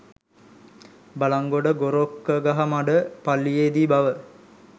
බළන්ගොඩ ගොරොක්ගහමඩ පල්ලියේ දී බව